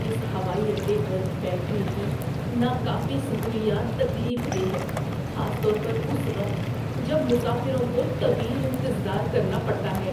اس ہوائی اڈے پر بیٹھنے کی ناکافی سہولیات تکلیف دہ ہے، خاص طور پر اس وقت جب مسافروں کو طویل انتظار کرنا پڑتا ہے۔